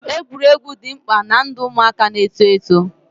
Egwuregwu dị mkpa ná ndụ ụmụaka na eto eto